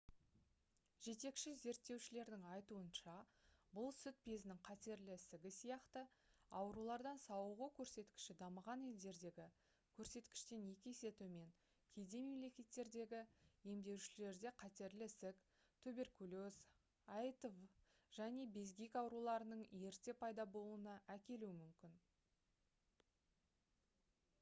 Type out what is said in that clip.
жетекші зерттеушілердің айтуынша бұл сүт безінің қатерлі ісігі сияқты аурулардан сауығу көрсеткіші дамыған елдердегі көрсеткіштен екі есе төмен кедей мемлекеттердегі емделушілерде қатерлі ісік туберкулез аитв және безгек ауруларының ерте пайда болуына әкелуі мүмкін